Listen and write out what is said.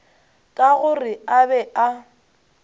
ka gore a be a